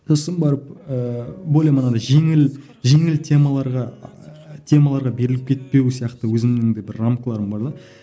сосын барып ыыы бойым анадай жеңіл жеңіл темаларға темаларға беріліп кетпеу сияқты өзімнің де бір рамкаларым бар да